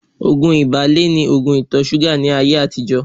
Ògùn ìbílẹ̀ ni ògùn ìtọ-súgà ní ayé àtijọ́